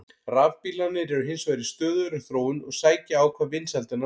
Rafbílarnir eru hins vegar í stöðugri þróun og sækja á hvað vinsældirnar varðar.